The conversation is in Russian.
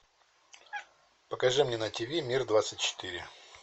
покажи мне на тиви мир двадцать четыре